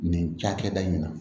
Nin cakɛda in na